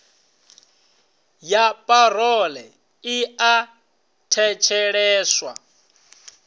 ya parole i a thetsheleswa